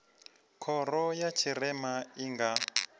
khoro ya tshirema i nga